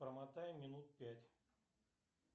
промотай минут пять